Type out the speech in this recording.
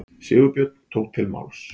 Sigurbjörn tók til máls.